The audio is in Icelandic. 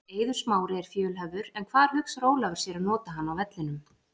Eiður Smári er fjölhæfur en hvar hugsar Ólafur sér að nota hann á vellinum?